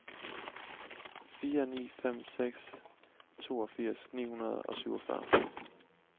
fire ni fem seks toogfirs ni hundrede og syvogfyrre